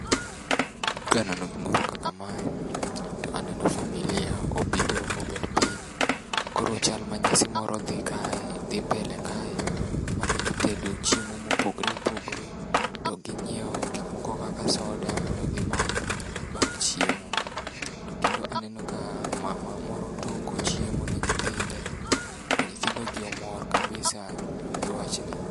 Kaneno gimoro kaka mae, to aneno familia ma obiro mobet piny. Koro chal ma nyasi moro dhi kae dhi mbele kae, mane gitedo chiemo mopogore opogore to ginyieo gik moko kaka soda mondo gimadh bang' chiemo. To kendo aneno ka mama moro toko chiemo ne nyithinde to nyithindo gi mor kabisa gi wachni.